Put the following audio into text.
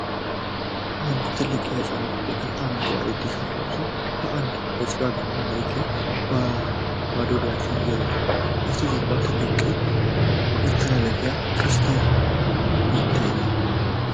አንድ ትልቅ የህጻናት ቡድን አረንጓዴ ቲሸርት ለብሶ በአንድነት በጭቃማ መሬት ላይ ባዶ እግራቸውን እየሮጠ ነው። ከበስተጀርባ ትልቅ ቀይ መተላለፊያ (ቅስት) ይታያል።